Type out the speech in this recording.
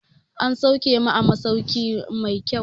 An sauke mu a masauki mai kyau